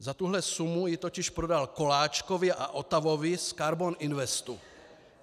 Za tuhle sumu ji totiž prodal Koláčkovi a Otavovi z Karbon Investu.